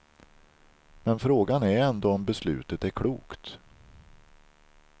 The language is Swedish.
Men frågan är ändå om beslutet är klokt.